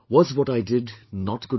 Was what I did not good enough